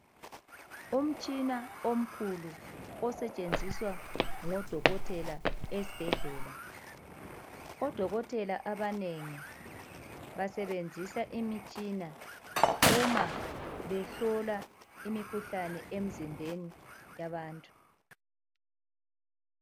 Umtshina omkhulu osetshenziswa ngudokotela esibhedlela. Odokotela abanengi basebenzisa imitshina uma behlola imikhuhlane emzimbeni yabantu